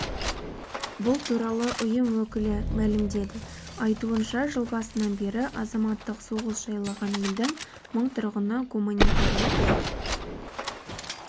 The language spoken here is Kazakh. бұл туралы ұйым өкілі мәлімдеді айтуынша жыл басынан бері азаматтық соғыс жайлаған елдің мың тұрғыны гуманитарлық